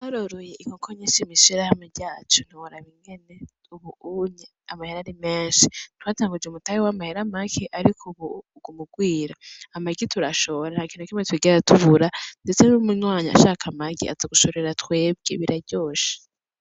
Twaroroye inkoko nyishi mw'ishirahamwe ryacu ntiworaba ingene ubu unye amahera ari menshi, twatanguje umutahe w'amahera make, ariko ubu uguma ugwira, amagi turashora nta kintu nakimwe twigera tubura, ndetse n'umunywanyi ashaka amagi aza gushorera twebwe biraryoshe.